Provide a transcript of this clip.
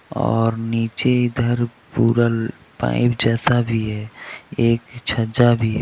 और नीचे इधर पूरा पाइप जैसा भी है एक छज्जा भी है.